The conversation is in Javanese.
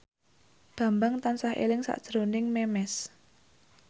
Bambang tansah eling sakjroning Memes